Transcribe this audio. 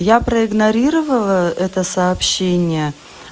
я проигнорировала это сообщение